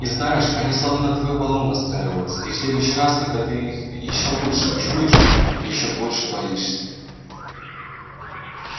и знаешь они словно на твою волну настраиваются и в следующий раз когда ты их ещё лучше чуешь ещё больше боишься